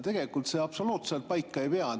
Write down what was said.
Tegelikult see absoluutselt paika ei pea.